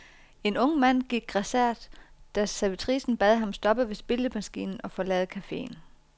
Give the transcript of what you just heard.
En ung mand gik grassat, da servitricen bad ham stoppe ved spillemaskinen og forlade caféen.